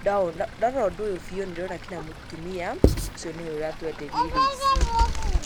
ndawona, ndarora ũndũ ũyũ biũ nĩndĩrona kinya mũtumia ũcio nĩwe ũratwenderia indo ici. Pause